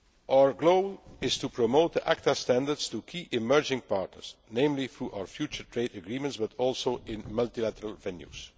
agreement. Our goal is to promote ACTA standards to key emerging partners, namely through our future trade agreements, but also in multilateral